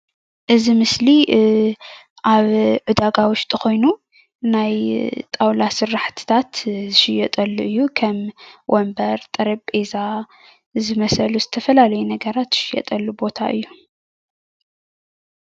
እዚ ምስሊ ኣብ ዕዳጋ ዉሽጢ ኮይኑ ናይ ጣዉላ ስረሓቲታት ዝሽየጠሉ እዩ። ከም ወንበር ጠረጴዛ ዝመሰሉ ዝተፈላለዩ ነገራት ዝሽየጠሉ ቦታ እዩ ።